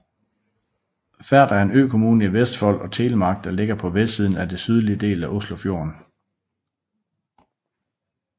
Færder er en økommune i Vestfold og Telemark der ligger på vestsiden af den sydlige del af Oslofjorden